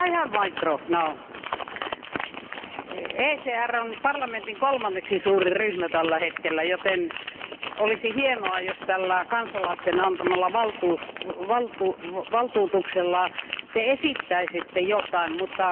ECR on parlamentin kolmanneksi suurin ryhmä tällä hetkellä, joten olisi hienoa, jos tällä kansalaisten antamalla valtuutuksella te esittäisitte jotain, mutta kuulin vaan aika dramaattisen tilannekuvauksen.